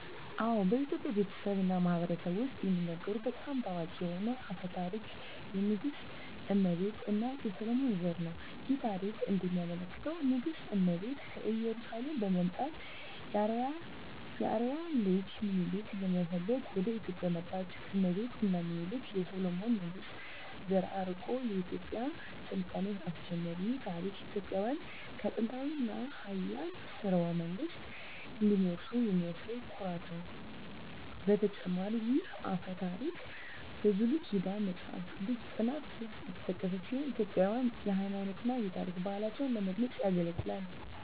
አዎ፣ በኢትዮጵያ ቤተሰብ እና ማህበረሰብ ውስጥ የሚነገሩ በጣም ታዋቂ የሆነ አፈ ታሪክ የንግሥት እመቤት እና የሰሎሞን ዘር ነው። ይህ ታሪክ እንደሚያመለክተው ንግሥት እመቤት ከኢየሩሳሌም በመምጣት የአርአያ ልጅ ሚኒሊክን ለመፈለግ ወደ ኢትዮጵያ መጣች። እመቤት እና ሚኒሊክ የሰሎሞን ንጉሥ ዘር አርቆ የኢትዮጵያን ሥልጣኔ አስጀመሩ። ይህ ታሪክ ኢትዮጵያውያን ከጥንታዊ እና ኃያል ሥርወ መንግሥት እንደሚወርሱ የሚያሳይ ኩራት ነው። በተጨማሪም ይህ አፈ ታሪክ በብሉይ ኪዳን መጽሐፍ ቅዱስ ጥናት ውስጥ የተጠቀሰ ሲሆን ኢትዮጵያውያንን የሃይማኖት እና የታሪክ ባህላቸውን ለመግለጽ ያገለግላል።